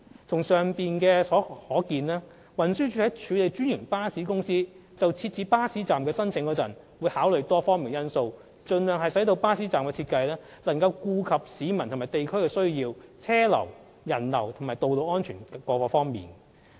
從上述可見，運輸署在處理專營巴士公司設置巴士站的申請時，會考慮多方面因素，盡量使巴士站的設計能夠顧及市民和地區的需要、車流人流及道路安全等。